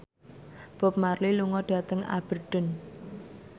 Bob Marley lunga dhateng Aberdeen